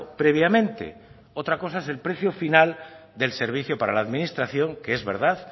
previamente otra cosa es el precio final del servicio para la administración que es verdad